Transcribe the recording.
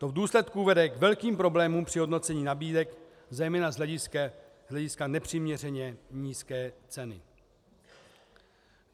To v důsledku vede k velkým problémům při hodnocení nabídek zejména z hlediska nepřiměřeně nízké ceny.